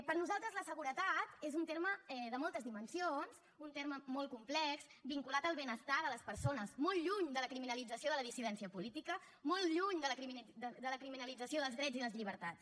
per nosaltres la seguretat és un terme de moltes dimensions un terme molt complex vinculat al benestar de les persones molt lluny de la criminalització de la dissidència política molt lluny de la criminalització dels drets i les llibertats